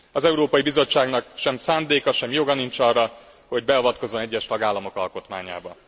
Az Európai Bizottságnak sem szándéka, sem joga nincs arra, hogy beavatkozzon egyes tagállamok alkotmányába.